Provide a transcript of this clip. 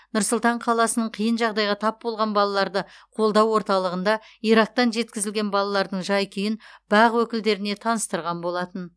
нұр сұлтан қаласының қиын жағдайға тап болған балаларды қолдау орталығында ирактан жеткізілген балалардың жай күйін бақ өкілдеріне таныстырған болатын